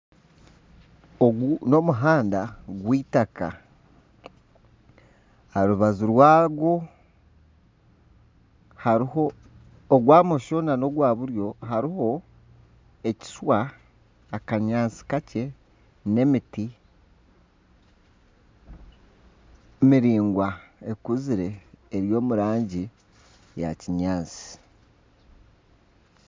Ogu n’omuhanda gw'eitaaka aha rubaju rwagwo ogwa bumosho na buryo hariho ekishwa, akanyaatsi kakye n'emiti miraingwa ekuzire eri omu rangi ya kinyaatsi.